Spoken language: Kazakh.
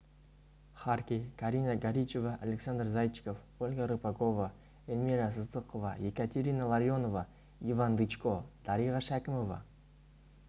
харки карина горичева александр зайчиков ольга рыпакова эльмира сыздықова екатерина ларионова иван дычко дариға шәкімова